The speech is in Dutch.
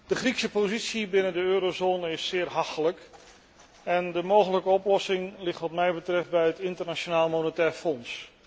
De Griekse positie binnen de eurozone is zeer hachelijk en de mogelijke oplossing ligt wat mij betreft bij het Internationaal Monetair Fonds.